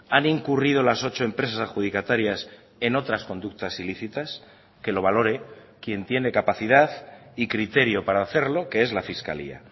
han incurrido las ocho empresas adjudicatarias en otras conductas ilícitas que lo valore quien tiene capacidad y criterio para hacerlo que es la fiscalía